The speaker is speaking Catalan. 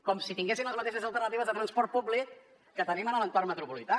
com si tinguessin les mateixes alternatives de transport públic que tenim en l’entorn metropolità